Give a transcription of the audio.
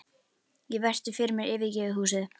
Ég virti fyrir mér yfirgefið húsið.